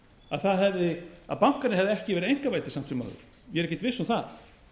að bankarnir hefðu ekki verið einkavæddir samt sem áður ég er ekkert viss um það